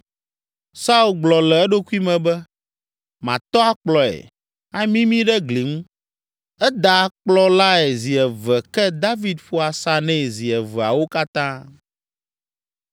Saul gblɔ le eɖokui me be, “Matɔ akplɔe, amimii ɖe gli ŋu.” Eda akplɔ lae zi eve ke David ƒo asa nɛ zi eveawo katã.